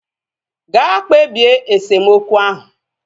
Ga kpebie esemokwu ahu!